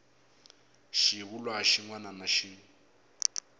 xivulwa xin wana na xin